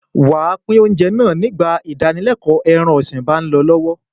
Wà á pín oúnjẹ náà nígbà ìdánilẹ́ẹ̀kọ́ ẹran-ọ̀sìn bá ń lọ lọ́wọ́.